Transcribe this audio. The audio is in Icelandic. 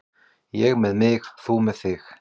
Ég með mig, þú með þig.